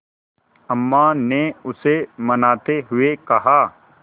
अम्मा ने उसे मनाते हुए कहा